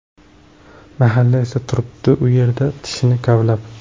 Mahalla esa turibdi u yerda, tishini kavlab.